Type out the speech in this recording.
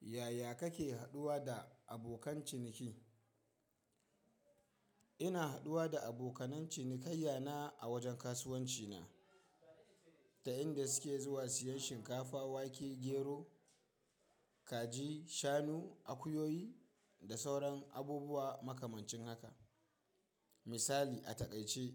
Yaya kake haɗuwa da abokan ciniki? Ina haɗuwa da abokanen cinikayya na a wajen kasuwanci na, ta inda suke zuwa siyan shinkafa, wake, gero, kaji, shanu, akuyoyi da sauran abubuwa makamancin haka. Misali a taƙaice,